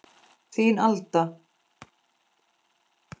Þín, Alda.